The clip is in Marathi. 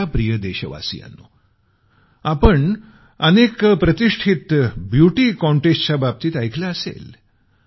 माझ्या प्रिय देशवासियांनो आपण अनेक प्रतिष्ठित ब्युटी कॉंटेस्टच्या बाबतीत ऐकलं असेल